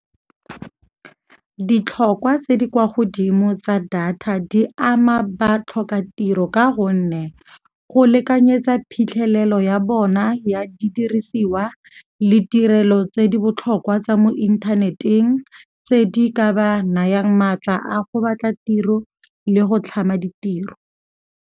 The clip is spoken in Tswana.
Ditlhokwa tse di kwa godimo tsa data di ama batlhokatiro ka gonne go lekanyetsa phitlhelelo ya bona ya didirisiwa le tirelo tse di botlhokwa tsa mo inthaneteng tse di ka ba nayang maatla a go batla tiro le go tlhama ditiro.